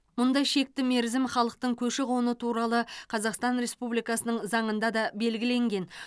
мұндай шекті мерзім халықтың көші қоны туралы қазақстан республикасының заңында да белгіленген